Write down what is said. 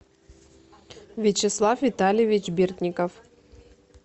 вячеслав витальевич бердников